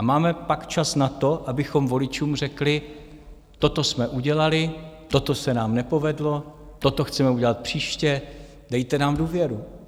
A máme pak čas na to, abychom voličům řekli: Toto jsme udělali, toto se nám nepovedlo, toto chceme udělat příště, dejte nám důvěru.